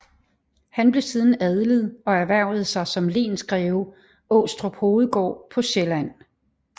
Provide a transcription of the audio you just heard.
Han blev siden adlet og erhvervede sig som lensgreve Aastrup Hovedgård på Sjælland